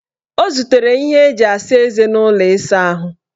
O zutere ihe eji asa eze n' ụlọ ịsaahụ.